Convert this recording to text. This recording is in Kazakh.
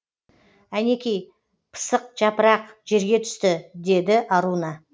әнекей пысық жапырақ жерге түсті деді аруна